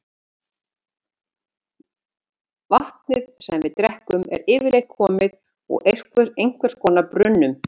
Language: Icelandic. Vatnið sem við drekkum er yfirleitt komið úr einhvers konar brunnum.